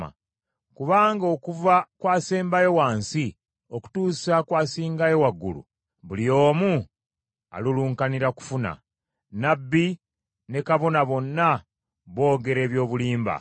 “Kubanga okuva ku asembayo wansi okutuusa ku asingayo waggulu, buli omu alulunkanira kufuna. Nnabbi ne kabona bonna boogera eby’obulimba.